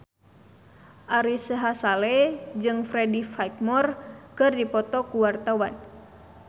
Ari Sihasale jeung Freddie Highmore keur dipoto ku wartawan